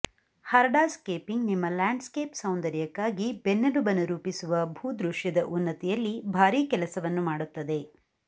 hardscaping ನಿಮ್ಮ landscape ಸೌಂದರ್ಯಕ್ಕಾಗಿ ಬೆನ್ನೆಲುಬನ್ನು ರೂಪಿಸುವ ಭೂದೃಶ್ಯದ ಉನ್ನತಿಯಲ್ಲಿ ಭಾರೀ ಕೆಲಸವನ್ನು ಮಾಡುತ್ತದೆ